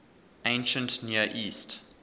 ancient near east